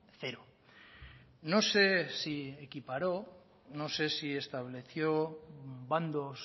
cero no sé si equiparó no sé si estableció bandos